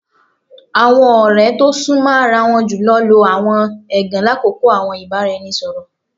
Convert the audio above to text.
Awọn ọrẹ to sunmọ ara won julọ lo awọn ẹgan lakoko awọn ibaraẹnisọrọ